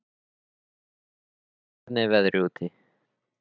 Hallvör, hvernig er veðrið úti?